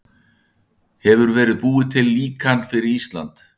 Hefur verið búið til líkan fyrir Ísland?